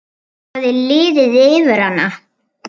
Það hafði liðið yfir hana!